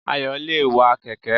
Ayò le è wa kèké